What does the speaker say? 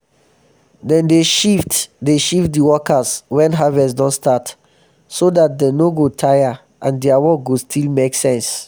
dem dey shift dey shift di workers wen harvest don start so dat dem no go tire um and dia work go still make sense.